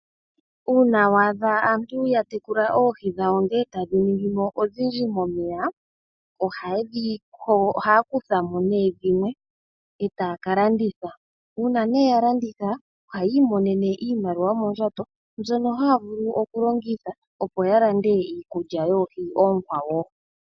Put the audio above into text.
Uuna waadha aantu yatekula oohi ndele etadhi ningimo odhindji momeya, ohaya kuthamo dhimwe etaya kalanditha. Uuna yalanditha ohaya imonenemo iimaliwa noondjato mbyono haya vulu okulongitha opo yalande Iikulya yoohi oonkwawo.